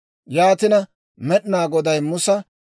Yaatina Med'inaa Goday Musa,